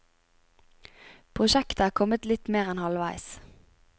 Prosjektet er kommet litt mer enn halvveis.